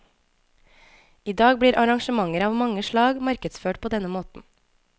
I dag blir arrangementer av mange slag markedsført på denne måten.